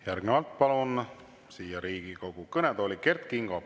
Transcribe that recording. Järgnevalt palun Riigikogu kõnetooli Kert Kingo.